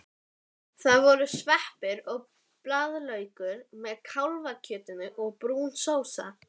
Það voru sveppir og blaðlaukur með kálfakjötinu og brún sósa.